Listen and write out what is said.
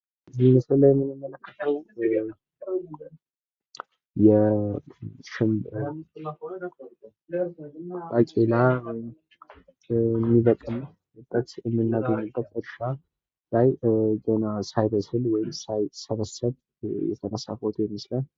እዚህ ምስል ላይ የምንመለከተው የባቄላ የሚበቅልበት እምናገኝበት እርሻ ገና ሳይበስል ወይም ሳይሰበሰብ የተነሳ ፎቶ ይመስላል።